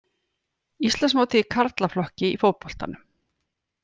Íslandsmótið í karlaflokki í fótboltanum